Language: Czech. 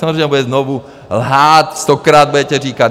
Samozřejmě, bude znovu lhát, stokrát budete říkat...